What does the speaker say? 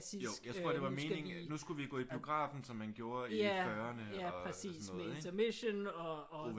Jo jeg tror det var meningen at nu skulle vi gå i biografen som man gjorde i fyrrene og sådan noget ikke